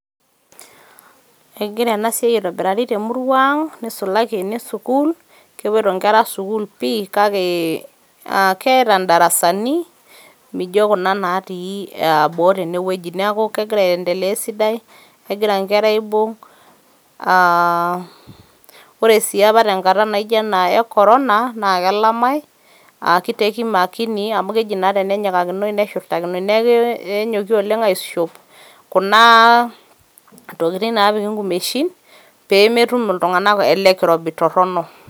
Egira ena siai aitobirari te murrua ang nisulaki ene sukuul ,kepoito inkera sukuul pi kake keeta ndarasani mijo kuna natii boo tene wueji . niaku kegira aendelea esidai ,kegira inkera aibung , aa. ore si apa tenkata naijo ena e corona naa kelamae a kiteki makini amu keji naa tenenyikakinoi neshurtakinoi ,niaku kenyoki oleng aishop kuna tokitin napiki nkumeshin pemetum iltungank ele kirobi torono.